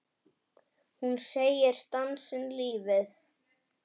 Hún segir dansinn lífið.